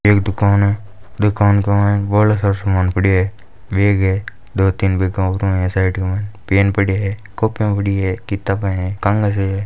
एक दुकान ए दुकान का मायने बोला सारा समान पडिया ए बैग ए दो तीन बैग क वा पर पेन पडिया ए कोपिया पडी ए किताबा है।